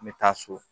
N bɛ taa so